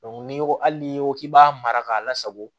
ni ko hali n'i ko k'i b'a mara k'a lasago